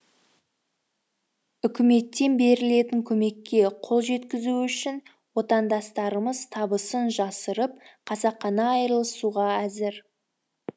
үкіметтен берілетін көмекке қол жеткізу үшін отандастарымыз табысын жасырып қасақана айырылысуға әзір